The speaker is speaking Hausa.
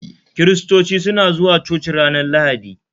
Kiristoci suna zuwa coci ranar Lahadi